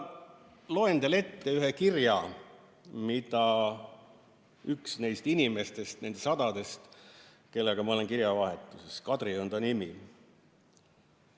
Loen teile ette ühe kirja, mille üks neist inimestest, neist sadadest, kellega ma olen kirjavahetuses, Kadri on ta nimi.